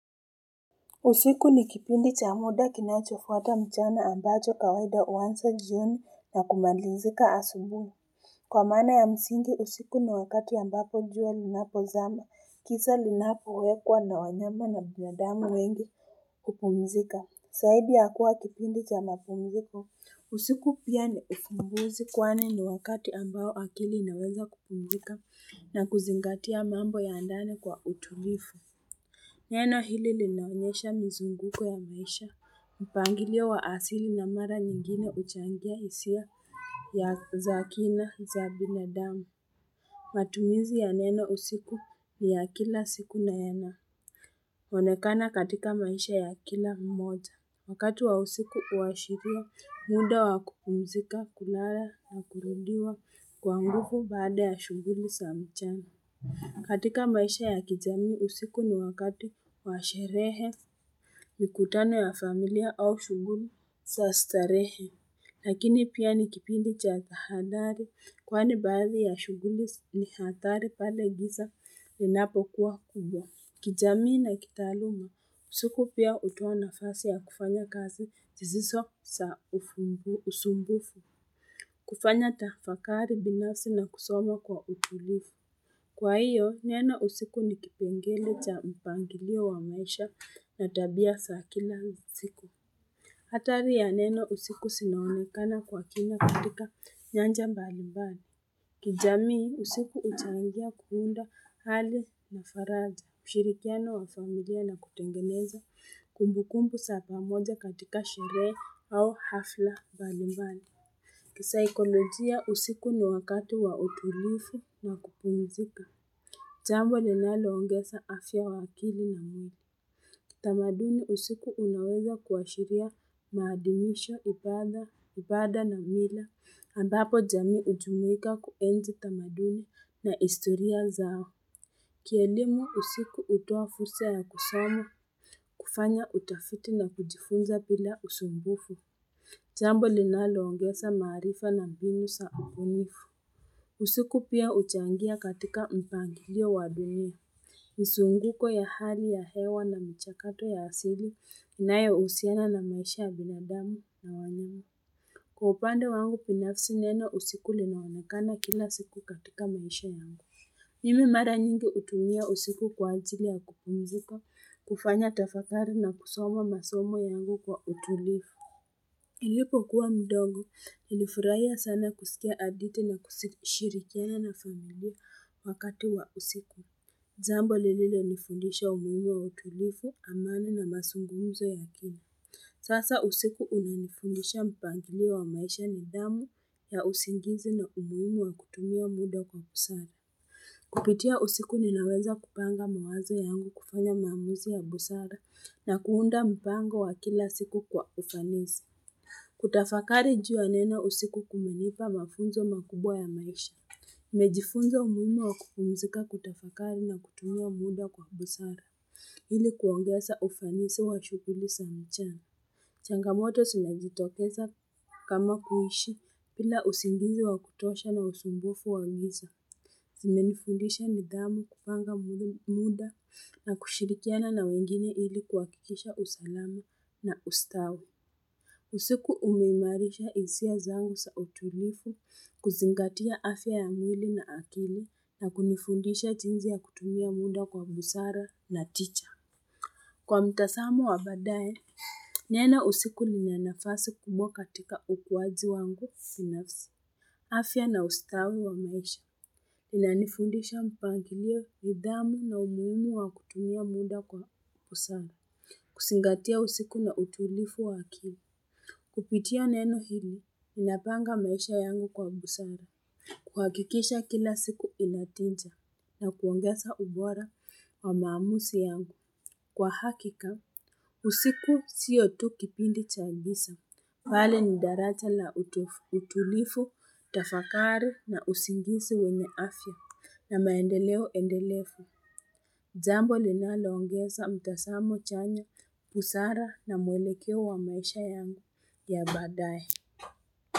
Usiku ni kipindi cha muda kinachofuata mchana ambacho kawaida huanza jioni na kumalizika asubuhi. Kwa maana ya msingi usiku ni wakati ambapo jua linapozama kisa linapowekwa na wanyama na binadamu wengi kupumzika. Zaidi ya kuwa kipindi cha mapumziko, usiku pia ni ufumbuzi kwani ni wakati ambao akili inaweza kupumzika na kuzingatia mambo ya ndani kwa utulivu Neno hili linaonyesha mzunguko ya maisha mpangilio wa asili na mara nyingine huchangia hisia ya za kina za binadamu matumizi ya neno usiku ni ya kila siku nayana onekana katika maisha ya kila mmoja wakati wa usiku huashiria muda wa kupumzika kulala na kurudiwa kwa nguvu baada ya shughuli za mchana. Katika maisha ya kijamii usiku ni wakati wa sherehe mikutano ya familia au shughuli za starehe. Lakini pia ni kipindi cha kuhadhari kwani baadhi ya shughuli ni hadhari pale giza inapokuwa kubwa. Kijamii na kitaaluma, usiku pia hutoa nafasi ya kufanya kazi zisizo za ufumbu usumbufu, kufanya tafakari binafsi na kusoma kwa utulivu. Kwa hiyo, neno usiku ni kipengele cha mpangilio wa maisha na tabia za kila usiku. Hatari ya neno usiku zinaonekana kwa kina katika nyanja mbali mbali. Kijamii, usiku huchangia kuunda hali na faraja, mshirikiano wa familia na kutengeneza kumbu kumbu za pamoja katika sherehe au hafla mbali mbali. Kisaikolojia usiku ni wakati wa utulivu na kupumizika. Jambo linaloongeza afya ya akili na mwili. Tamaduni usiku unaweza kuashiria maadimisho, ibada, ibada na mila. Ambapo jamii hujumuika kuenzi tamaduni na historia zao. Kielimu usiku hutoa fursa ya kusoma, kufanya utafiti na kujifunza bila usumbufu. Jambo linaloongeza maarifa na mbinu za ubunifu. Usiku pia huchangia katika mpangilio wa dunia. Mzunguko ya hali ya hewa na mchakato ya asili inayohusiana na maisha ya binadamu na wanyama. Kwa upande wangu binafsi neno usiku linaonekana kila siku katika maisha yangu. Mimi mara nyingi hutumia usiku kwa ajili ya kupumzika, kufanya tafakari na kusoma masomo yangu kwa utulivu. Nilipo kuwa mdogo, nilifurahia sana kusikia hadithi na kushirikiana na familia wakati wa usiku. Jambo lililonifundisha umuhimu wa utulivu, amani na mazungumuzo ya kina. Sasa usiku unanifundisha mpangilio wa maisha, nidhamu ya usingizi na umuhimu wa kutumia muda kwa busara. Kupitia usiku ninaweza kupanga mawazo yangu kufanya maamuzi ya busara na kuunda mpango wa kila siku kwa ufanisi. Kutafakari juu ya neno usiku kumenipa mafunzo makubwa ya maisha nimejifunza umuhimu wa kupumzika, kutafakari na kutumia muda kwa busara ili kuongeza ufanisi wa shughuli sa mchana changamoto zinazotokeza kama kuishi bila usingizi wa kutosha na usumbufu wa giza Zimenifundisha nidhamu kupanga muda na kushirikiana na wengine ili kuhakikisha usalama na ustawi usiku umeimarisha hisia zangu za utulivu kuzingatia afya ya mwili na akili na kunifundisha jinsi ya kutumia muda kwa busara na Kwa mtazamo wa baadaye, neno usiku lina nafasi kubwa katika ukuaji wangu binafsi. Afya na ustawi wa maisha inanifundisha mpangilio nidhamu na umuhimu wa kutumia muda kwa busara, kuzingatia usiku na utulivu wa akili. Kupitia neno hili, ninapanga maisha yangu kwa busara kuhakikisha kila siku inatija na kuongeza ubora wa maamuzi yangu kwa hakika usiku sio tu kipindi cha giza bali ni daraja la utu utulivu, tafakari na usingizi wenye afya na maendeleo endelefu jambo linaloongeza mtazamo chanya, busara na mwelekeo wa maisha yangu ya badaye.